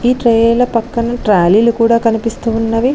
ఈ ట్రైల పక్కన ట్రాలీలు కూడా కనిపిస్తూ ఉన్నవి.